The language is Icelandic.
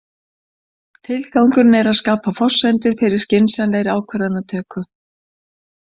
Tilgangurinn er að skapa forsendur fyrir skynsamlegri ákvarðanatöku.